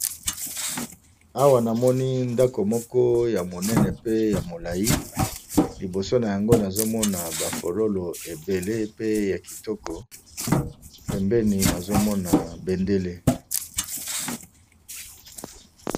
Awa namoni ndako moko ya monene pe ya molai liboso na yango nazomona baforolo ebele pe ya kitoko pembeni nazomona bendele.